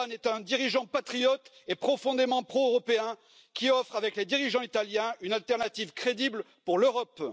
Orbán est un dirigeant patriote et profondément pro européen qui offre, avec les dirigeants italiens, une alternative crédible pour l'Europe.